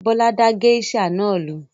Bólú da géíṣà rẹ̀ nù.